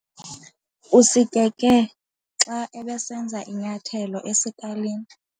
Usikeke xa ebesenza inyathelo esikalini.